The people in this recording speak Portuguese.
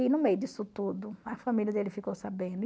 E no meio disso tudo, a família dele ficou sabendo.